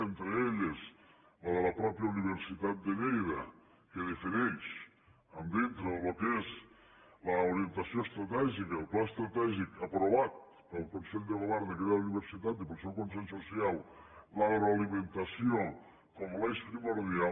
entre elles la de la mateixa universitat de lleida que defineix dintre del que és l’orientació estratègica el pla estratègic aprovat pel consell de govern d’aquella universitat i pel seu consell social l’agroalimentació com a l’eix primordial